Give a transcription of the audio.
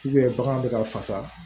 bagan bɛ ka fasa